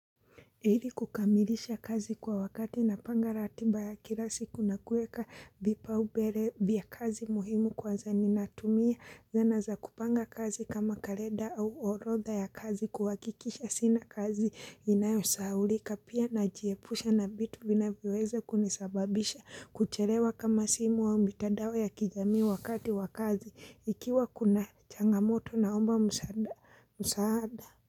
Ili kukamilisha kazi kwa wakati napanga ratiba ya kila siku na kuweka vipaubele vya kazi muhimu kwa zenye natumia zana za kupanga kazi kama kalenda au orotha ya kazi kuhakikisha sina kazi inayosahaulika pia najiepusha navitu vinaviweza kunisababisha kuchelewa kama simu au mitadao ya kijami wakati wa kazi ikiwa kuna changamoto naomba msaada.